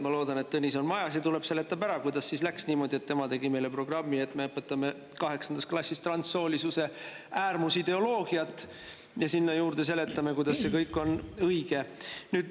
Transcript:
Ma loodan, et Tõnis on majas ja tuleb, seletab ära, kuidas läks niimoodi, et tema tegi meile programmi, mille kohaselt me õpetame kaheksandast klassist transsoolisuse äärmusideoloogiat ja sinna juurde seletame, kuidas see kõik on õige.